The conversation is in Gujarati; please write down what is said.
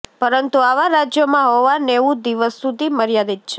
પરંતુ આવા રાજ્યોમાં હોવા નેવું દિવસ સુધી મર્યાદિત છે